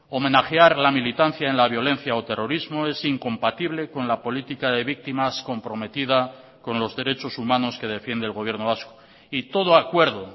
homenajear la militancia en la violencia o terrorismo es incompatible con la política de víctimas comprometida con los derechos humanos que defiende el gobierno vasco y todo acuerdo